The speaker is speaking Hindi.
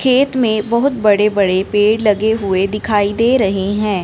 खेत में बहुत बड़े बड़े पेड़ लगे हुए दिखाई दे रहे हैं।